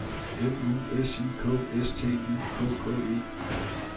M U S I K S T Y K K E